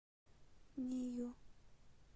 нею